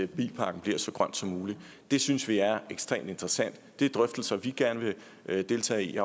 bilparken bliver så grøn som mulig synes vi er ekstremt interessante det er drøftelser vi gerne vil deltage i